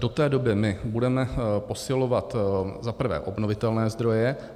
Do té doby my budeme posilovat za prvé obnovitelné zdroje.